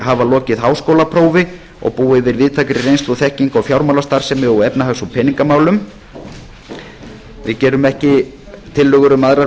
hafa lokið háskólaprófi og búa yfir víðtækri reynslu og þekkingu á fjármálastarfsemi og efnahags og peningamálum við gerum ekki tillögur um aðrar